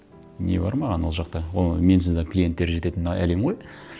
не бар маған ол жақта менсіз де клиенттері жететін әлем ғой